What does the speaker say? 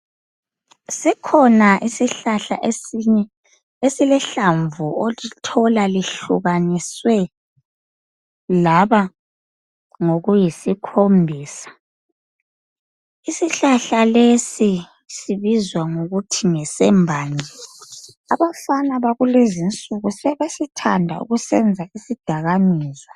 Sikhona isihlahla esinye esilehlamvu olithola lihlukaniswe laba ngokuyisikhombisa. Isihlahla lesi sibizwa ngokuthi ngesembanje. Abafana bakulezi insuku, sebesithanda ukusenza isidakamizwa.